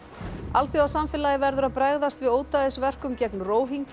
alþjóðasamfélagið verður að bregðast við ódæðisverkum gegn